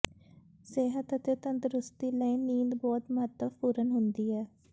ਸਿਹਤ ਅਤੇ ਤੰਦਰੁਸਤੀ ਲਈ ਨੀਂਦ ਬਹੁਤ ਮਹੱਤਵਪੂਰਨ ਹੁੰਦੀ ਹੈ